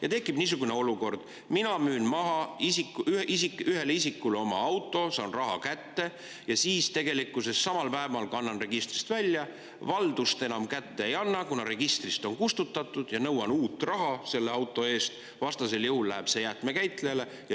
Ja tekib niisugune olukord: mina müün maha ühele isikule oma auto, saan raha kätte ja samal päeval kannan registrist välja, valdust enam kätte ei anna, kuna registrist on kustutatud, ja nõuan uut raha selle auto eest, vastasel juhul läheb see jäätmekäitlejale.